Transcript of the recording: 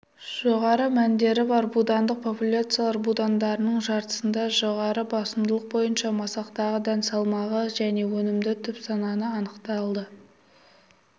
жоғары мәндері бар будандық популяциялар будандарының жартысында жоғары басымдылық бойынша масақтағы дән салмағы және өнімді түп саны анықталды